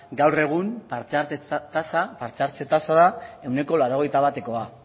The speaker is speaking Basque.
gaur egun parte hartze tasa parte hartze tasa da ehuneko laurogeita batekoa